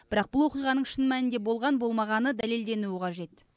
бірақ бұл оқиғаның шын мәнінде болған болмағаны дәлелденуі қажет